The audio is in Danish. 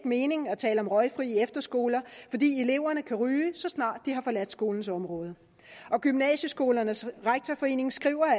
mening at tale om røgfri efterskoler fordi eleverne kan ryge så snart de har forladt skolens område og gymnasieskolernes rektorforening skriver